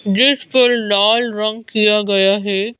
जिस पर लाल रंग किया गया है।